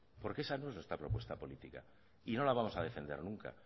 porque esa no es nuestra propuesta política y no la vamos a defender nunca